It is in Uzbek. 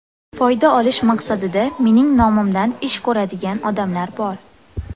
Foyda olish maqsadida mening nomimdan ish ko‘radigan odamlar bor.